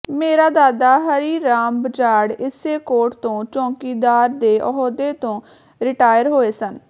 ਮੇਰਾ ਦਾਦਾ ਹਰੀਰਾਮ ਬਜਾੜ ਇਸੇ ਕੋਰਟ ਤੋਂ ਚੌਕੀਦਾਰ ਦੇ ਅਹੁਦੇ ਤੋਂ ਰਿਟਾਇਰ ਹੋਏ ਹਨ